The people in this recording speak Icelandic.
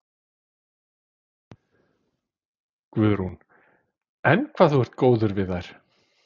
Guðrún: Enn hvað þú ert góður við þær?